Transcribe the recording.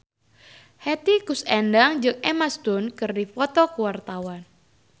Hetty Koes Endang jeung Emma Stone keur dipoto ku wartawan